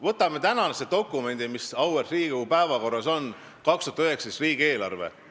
Võtame dokumendi, mis täna auväärt Riigikogu päevakorras on: 2019. aasta riigieelarve.